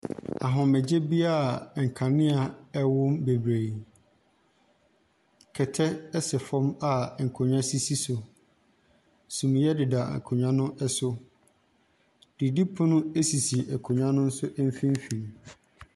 Ahomegyebea a nkanea wom bebree. Kɛtɛ sɛ fam a nkonnwa sisi so. Sumiiɛ deda akonnwa no so. Didipono sisi akonnwa nso mfimfini.